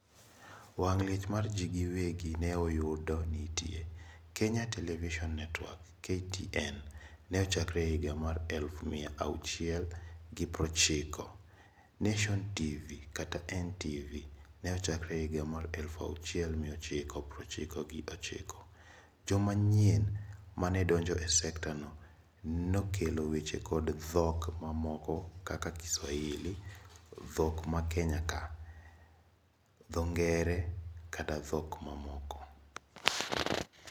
Wang liech mar jii giwegi neoyudo nitie. Kenya Television Network(KTN) ne ochkore higa mar eluf mia achiel gi prochiko. Nation TV(NTV) ne ochakore higa mar eluf achiel mia ochiko prochiko gi ochiko. Joma nyien mane donjo e sketa no nokelo weche kod dhok mamoko kaka Kiswahili, dhok ma Kenya ka, dho ngere kod dhok mamoko.